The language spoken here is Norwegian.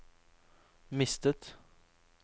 mistet